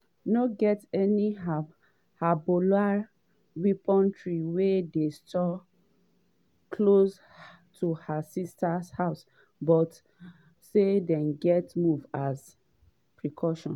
no get any hezbollah weaponry wey dey stored close to her sister house but say dem gatz move as a precaution.